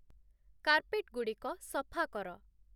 କାର୍ପେଟ୍‌ଗୁଡ଼ିକ ସଫା କର